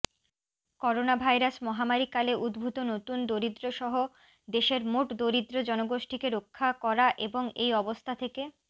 coronavirus মহামারিকালে উদ্ভূত নতুন দরিদ্রসহ দেশের মোট দরিদ্র জনগোষ্ঠীকে রক্ষা করা এবং এই অবস্থা থেকে